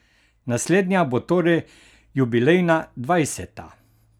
Naslednja bo torej jubilejna dvajseta!